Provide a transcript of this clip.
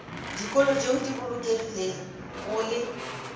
dikolo tšeo di bolokegilego le